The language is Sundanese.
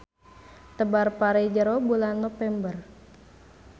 Tebar pare jero bulan Nopember.